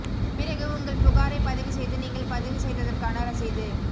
பிறகு உங்கள் புகாரை பதிவு செய்து நீங்கள் பதிவு செய்ததற்கான ரசீது